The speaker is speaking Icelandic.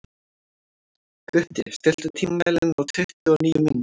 Gutti, stilltu tímamælinn á tuttugu og níu mínútur.